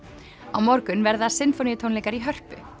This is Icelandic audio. á morgun verða sinfóníutónleikar í Hörpu